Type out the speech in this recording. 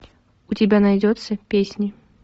у тебя найдется песни